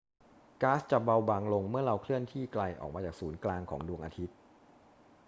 ก๊าซจะเบาบางลงเมื่อเราเคลื่อนที่ไกลออกมาจากศูนย์กลางของดวงอาทิตย์